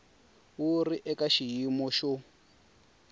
wu ri eka xiyimo xo